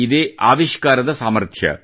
ಇದೇ ಆವಿಷ್ಕಾರದ ಸಾಮರ್ಥ್ಯ